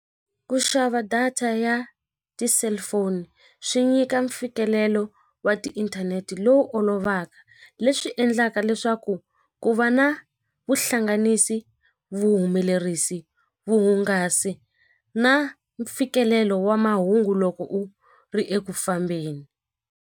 Ku xava data ya ti-cellphone swi nyika mfikelelo wa tiinthanete lowu olovaka leswi endlaka leswaku ku va na vuhlanganisi vuhumelerisi vuhungasi na mfikelelo wa mahungu loko u ri eku fambeni.